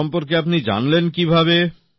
তার সম্পর্কে আপনি জানলেন কিভাবে